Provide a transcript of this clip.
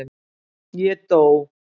Ég DÓ.